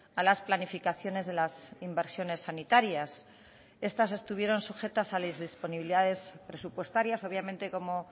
a las planificaciones de las inversiones sanitarias estas estuvieron sujetas a las disponibilidades presupuestarias obviamente como